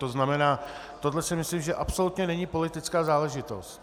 To znamená, tohle si myslím, že absolutně není politická záležitost.